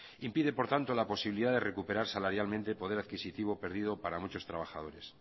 impide por tanto la posibilidad de recuperarse salarialmente poder adquisitivo perdido para muchos trabajadores